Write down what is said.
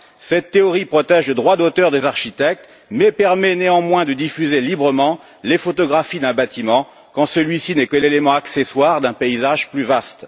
Cette théorie protège le droit d'auteur des architectes, mais permet néanmoins de diffuser librement les photographies d'un bâtiment quand celui ci n'est que l'élément accessoire d'un paysage plus vaste.